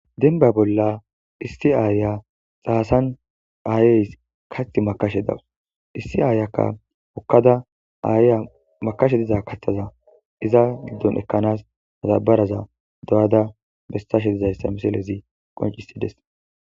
Denba bolla issi aaya xaasan aayeys kath makashe dawus issi aayakka okkada aayya makashe diza kaththaza iza giddon ekkanas matabaraza do'ada bestashe dizayssa miselezi qoncisides